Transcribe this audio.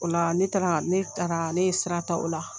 O la ne taara ne taara ne ye sira ta ola